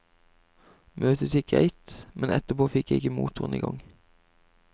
Møtet gikk greit, men etterpå fikk jeg ikke motoren i gang.